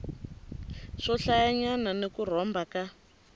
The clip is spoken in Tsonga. swohlayanyana ni ku rhomba ka